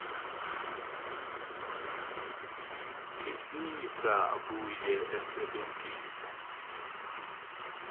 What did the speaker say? visisa abuye asebentise